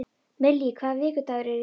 Millý, hvaða vikudagur er í dag?